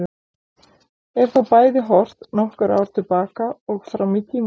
Er þá bæði horft nokkur ár til baka og fram í tímann.